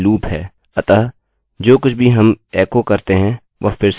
हमारे पास प्रत्येक रिकार्डअभिलेख है और वह सही भी हैं हम इस कोड को दोहराएँगे